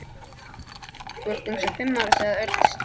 Þú ert eins og fimm ára sagði Örn stríðnislega.